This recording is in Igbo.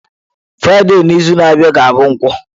Fraịde n'izu na-abịa ga-abụ nkwo.